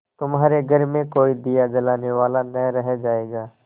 तुम्हारे घर में कोई दिया जलाने वाला न रह जायगा